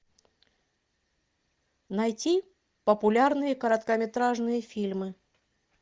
найти популярные короткометражные фильмы